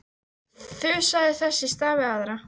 Þusaði þess í stað við aðra.